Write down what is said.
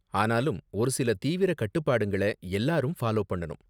ஆனாலும், ஒரு சில தீவிர கட்டுப்பாடுங்கள எல்லாரும் ஃபாலோ பண்ணனும்.